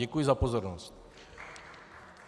Děkuji za pozornost.